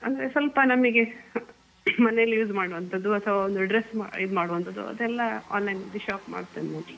ಅಂದ್ರೆ ಸ್ವಲ್ಪ ನಮಿಗೆ ಮನೇಲೆ use ಮಾಡುವಂತದ್ದು ಅಥವಾ ಒಂದ್ dress ಇದು ಮಾಡುವಂತದ್ದು ಅದೆಲ್ಲ online shop ಮಾಡ್ತೇನೆ ನಾನು